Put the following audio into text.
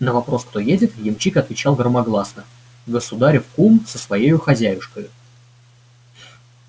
на вопрос кто едет ямщик отвечал громогласно государев кум со своею хозяюшкою